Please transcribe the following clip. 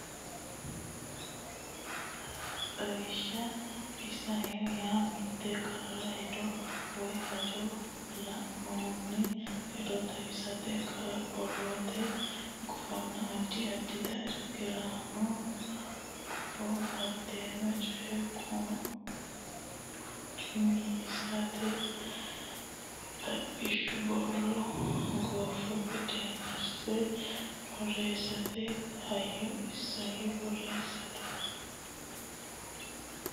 Xawishsha Isayyo yaa mitte qara hedo woy hajo lainohunni hedo xawissannota qara borrote gufonna addi addita irkisaano guffa hattono coye qucu mi assitannota xaphishshu borro gufo qineesse borreessate hayyo isayyo borreessate.